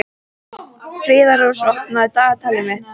Friðrós, opnaðu dagatalið mitt.